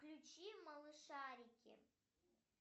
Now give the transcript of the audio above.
включи малышарики